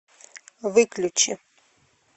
выключи